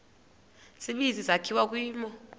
tsibizi sakhiwa kwimo